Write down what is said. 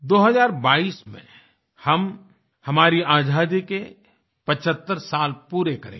दो हज़ार बाईस 2022 में हम हमारी आज़ादी के 75 साल पूरे करेंगे